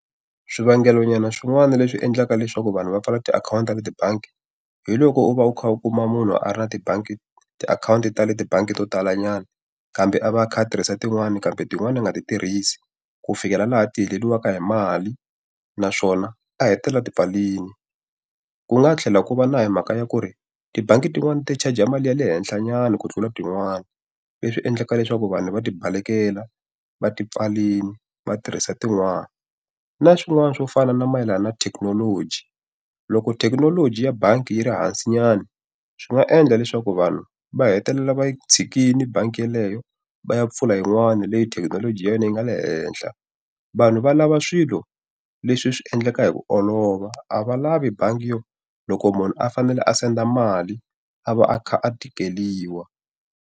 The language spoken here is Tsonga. Swivangelo nyana swin'wana leswi endlaka leswaku vanhu va pfala tiakhawunti leti bangi, hi loko u va u kha u kuma munhu a ra na tibangi ti akhawunti ta le tibangi to talanyana. Kambe a va a kha a tirhisa tin'wana kambe tin'wana a nga ti tirhisi, ku fikela laha ti heleriwaka hi mali naswona a hetelela a ti pfarile. Ku nga tlhela ku va na hi mhaka ya ku ri tibangi tin'wani ti-charger mali ya le henhlanyana ku tlula tin'wani, leswi endlaka leswaku vanhu va ti balekela va ti pfalela va tirhisa tin'wani. Na swin'wana swo fana na mayelana na thekinoloji. Loko thekinoloji ya bangi yi ri hansinyana, swi nga endla leswaku vanhu va hetelela va yi tshikile bangi yeleyo va ya pfula yin'wana leti thekinoloji ya yona yi nga le henhla. Vanhu va lava swilo leswi swi endlekaka hi ku olova, a va lavi bangi yo loko munhu a fanele a senda mali a va a kha a tikeriwa.